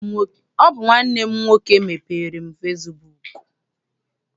Ọ bụ nwanne m nwoke mepeere m fesibuuku.